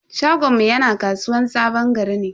Shagonmu yana kasuwan sabon gari ne.